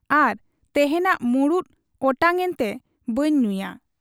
ᱟᱨ ᱛᱮᱦᱮᱧᱟᱜ ᱢᱩᱰᱫᱚ ᱚᱴᱟᱝ ᱮᱱᱛᱮ ᱵᱟᱹᱧ ᱧᱩᱭᱟ ᱾